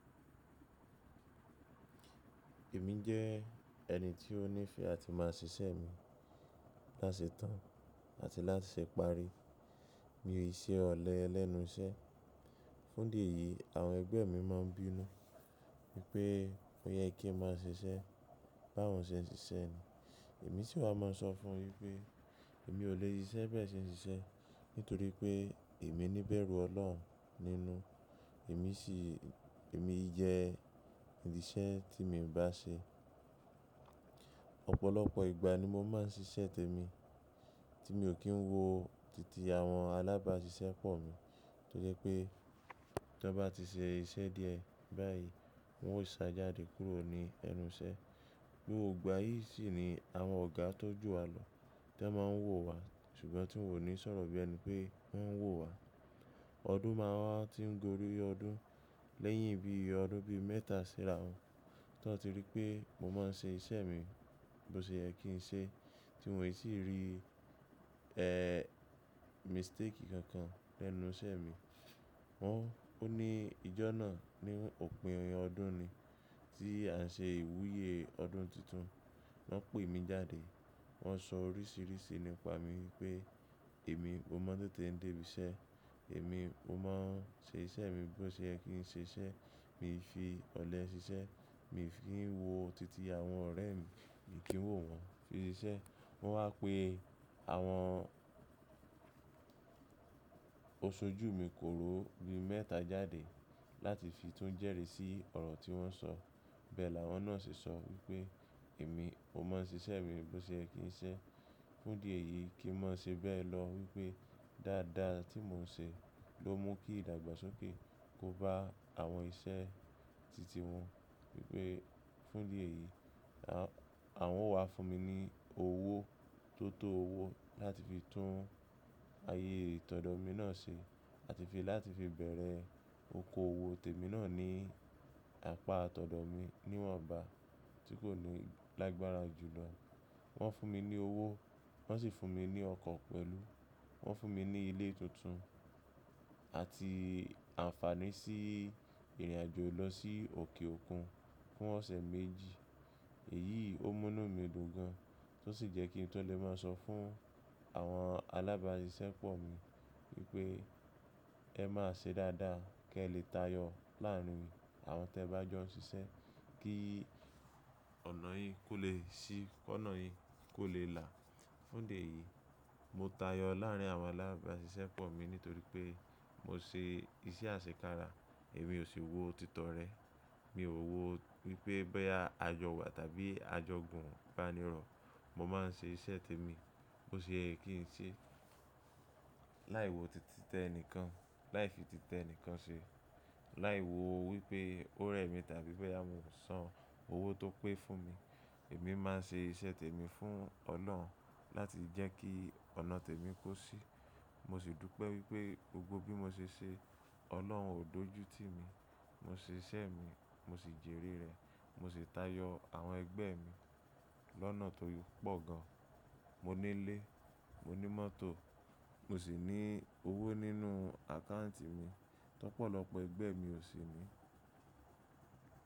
Èmi jẹ́ ẹni tí ó ní ìfẹ́ àti máa ṣiṣẹ́ mi láti ṣe tán àti láti ṣe pari. Mi ò ṣe ọ̀lẹ lẹ́nu iṣẹ́. Fún di èyí, àwọn ẹgbẹ́ mi máa ń bínú wípé ó yẹ kí n máa ṣiṣẹ́ bá wọn ṣe ṣíṣẹ́ ni. Èmi sì máa ń sọ fún un wípé èmi ò lè ṣiṣẹ́ bẹ́ẹ̀ ṣe ṣíṣẹ́ nítorí pé èmi ní bẹ̀rù Ọlọ́run nínú. Èmi sì, èmi jẹ́ ìdí iṣẹ́ tí mo ń bá ṣe. Ọ̀pọ̀lọpọ̀ ìgbà ni mo máa ń ṣiṣẹ́ tèmi tí mi ò kí ń wo titi àwọn alábáṣiṣẹ́ pọ̀ mi. Torí pé tí wọ́n bá ti ṣe iṣẹ́ díẹ̀ báyìí, wọn yóò ṣá jáde kúrò ní ẹnu iṣẹ́. Gbógbò igbà yìí sì ni àwọn ọ̀gá tó ju wa lọ tí wọ́n máa ń wò wa ṣùgbọ́n tí n ò ní sọ̀rọ̀ bí ẹni pé wọ́n ń wò wa. Ọdún máa wa n tí n gorí ọdún lẹ́yìn bí i ọdún bí i mẹ́ta sírá wọn tí wọ́n ti rí pé mo máa n ṣe iṣẹ́ mi bó ṣe yẹ́ kí n ṣe tí wọn ò sì rí, e, mistake kankan lẹ́nu iṣẹ́ mi. Wọn, ó ní ìjọ náà ni òpin ọdún ni tí à ń ṣe ìwúyé ọdún tuntun. Wọn pè mí jáde, wọ́n sọ oríṣìíríṣìí nípa mi wípé èmi mọ́ ma n tete ń dé ibi iṣẹ́, èmi mọ̀ ma n ṣe iṣẹ́ mi bó ṣe yẹ́ kí n ṣe iṣẹ́. Mi ò fi ọ̀lẹ ṣiṣẹ́, mi ò fi í wo titi àwọn ọ̀rẹ́ mi kì í wò wọn fi ṣiṣẹ́. Wọn wá pe àwọn oṣojú mi kó ró ibi mẹ́ta jáde láti fi tún jẹ́rìí sí ọ̀rọ̀ tí wọ́n sọ. Bẹ́ẹ̀ làwọn náà ṣe sọ wípé èmi ò mọ̀ ma n ṣe iṣẹ́ mi bó ṣe yẹ́ kí n ṣe. Fún di èyí kí n má ṣe bẹ́ẹ̀ lọ wípé dáadáa tí mò ń ṣe ló mú kí ìdàgbàsókè kó bá àwọn iṣẹ́ titi wọ́n wípé fún di èyí àwọn wá fún mi ní owó tó tó owó láti fi tún ayé tọ̀dọ̀ mi náà ṣe àti fi láti fi bẹ̀rẹ̀ okoòwò tèmi náà ní apá tọ̀dọ̀ mi níwọn ba tí kò ní lágbára jù lọ. Wọ́n fún mi ní owó, wọ́n sì fún mi ní ọkọ̀ pẹ̀lú. Wọ́n fún mi ní ilé tuntun àti àǹfààní sí ìrìnàjò lọ sí òkè òkun fún ọ̀sẹ̀ méjì. Èyí ó mú nu mí dùn gan tí ó sì jẹ́ kí n tu lè máa sọ fún àwọn alábáṣiṣẹ́ pọ̀ mi wípé ẹ má ṣe dáadáa kí ẹ lè tayọ láàrín àwọn tí ẹ bá jọ n ṣiṣẹ́ kí ọ̀nà yín kó lè ṣí, kó ọ̀nà yín kó lè là. Fún di èyí, mo tayọ láàrín àwọn alábáṣiṣẹ́ pọ̀ mi nítorí pé mo ṣe iṣẹ́ àṣekára. Èmi ò sì wò títọ rẹ. Mi ò wò wípé boya a jọ wà tàbí a jọ gùn ìbánirọ̀. Mo máa n ṣe iṣẹ́ tèmi bó ṣe ẹ́ kí n ṣe láì wo títí tẹ nìkan, láì fi títẹ nìkan ṣe, láì wo wípé ó rẹ mí tàbí báyìí a ò san owó tó pé fún mi. Èmi máa n ṣe iṣẹ́ tèmi fún Ọlọ́run láti jẹ́ kí ọ̀nà tèmi kó ṣí. Mo sì dúpẹ́ wípé gbogbo bí mo ṣe ṣe, Ọlọ́run ò dójú tí mi. Mo ṣe iṣẹ́ mi, mo sì jèrè rẹ̀, mo sì tayọ àwọn ẹgbẹ́ mi lọ́nà tó pọ̀ gan. Mo ní ilé, mo ní mọ́tò, mo sì ní owó nínú àkáǹtì mi tó pọ̀ lọ pẹ ẹgbẹ́ mi ò sì ní.